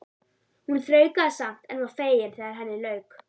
Hún þraukaði samt en var fegin þegar henni lauk.